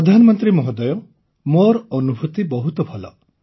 ପ୍ରଧାନମନ୍ତ୍ରୀ ମହୋଦୟ ମୋର ଅନୁଭୂତି ବହୁତ ଭଲ